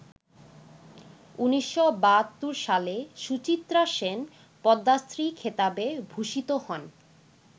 ১৯৭২ সালে সুচিত্রা সেন পদ্মশ্রী খেতাবে ভূষিত হন।